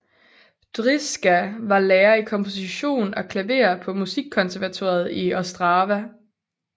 Drizga var lærer i komposition og klaver på Musikkonservatoriet i Ostrava